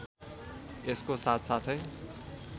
यसको साथसाथै